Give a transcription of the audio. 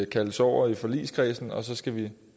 kaldes over i forligskredsen og så skal vi